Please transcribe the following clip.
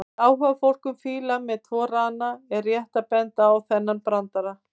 Fyrir áhugafólk um fíla með tvo rana er rétt að benda á þennan brandara: